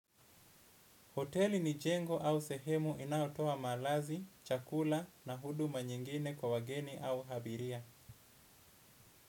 Hoteli ni jengo au sehemu inayotoa malazi, chakula na huduma nyingine kwa wageni au abiria.